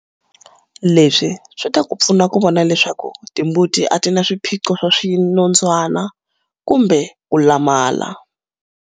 Leswi swi ta pfuna ku vona leswaku timbuti a ti vi na swiphiqo swa swinondzwana kumbe ku lamala.